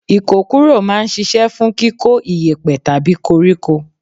Ikokuro máa ń ṣíṣe fún kíkó iyepe tàbí koríko.